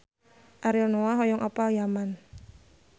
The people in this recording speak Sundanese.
Ariel Noah hoyong apal Yaman